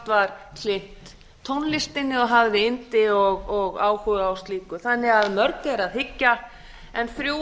var hlynnt tónlistinni og hafði yndi og áhuga á slíku þannig að mörgu er að hyggja en þrjú